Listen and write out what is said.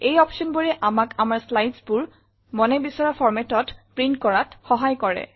এই optionবোৰে আমাক আমাৰ slidesবোৰ মনে বিচৰা formatত প্ৰিণ্ট কৰাত সহায় কৰে